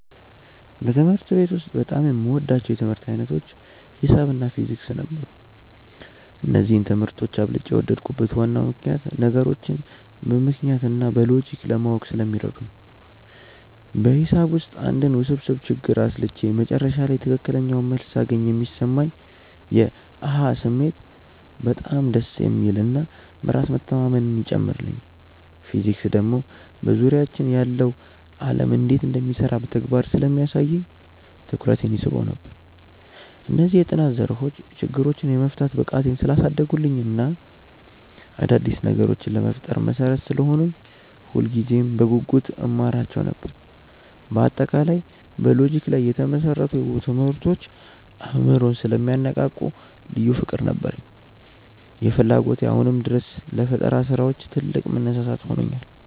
በትምህርት ቤት ውስጥ በጣም የምወዳቸው የትምህርት ዓይነቶች ሒሳብ እና ፊዚክስ ነበሩ። እነዚህን ትምህርቶች አብልጬ የወደድኩበት ዋናው ምክንያት ነገሮችን በምክንያት እና በሎጂክ ለማወቅ ስለሚረዱ ነው። በሒሳብ ውስጥ አንድን ውስብስብ ችግር አስልቼ መጨረሻ ላይ ትክክለኛውን መልስ ሳገኝ የሚሰማኝ የ "አሃ" ስሜት በጣም ደስ የሚል እና በራስ መተማመንን ይጨምርልኛል። ፊዚክስ ደግሞ በዙሪያችን ያለው ዓለም እንዴት እንደሚሰራ በተግባር ስለሚያሳየኝ ትኩረቴን ይስበው ነበር። እነዚህ የጥናት ዘርፎች ችግሮችን የመፍታት ብቃቴን ስላሳደጉልኝ እና አዳዲስ ነገሮችን ለመፍጠር መሠረት ስለሆኑኝ ሁልጊዜም በጉጉት እማራቸው ነበር። በአጠቃላይ በሎጂክ ላይ የተመሰረቱ ትምህርቶች አእምሮን ስለሚያነቃቁ ልዩ ፍቅር ነበረኝ። ይህ ፍላጎቴ አሁንም ድረስ ለፈጠራ ስራዎች ትልቅ መነሳሳት ሆኖኛል።